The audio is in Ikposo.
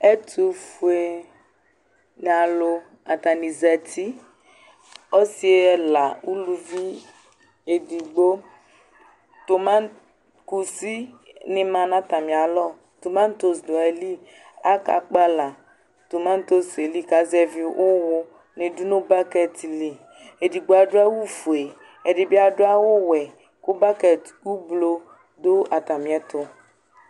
Ɛtufoe nalu, atani zati, ɔsi ɛla, uluvi eɗigbo, toma kusɩ ni ma nata mịalɔ, tomatos ɖu ayili Akakpala tomatos li ka zɛvi uwuni ɗu nu bakɛti li Ɛdibi aɗu awu foe, ɛɗibi aɗu awu wɛ ku bakɛt uvlo ɗu atamịɛtu